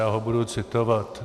Já ho budu citovat.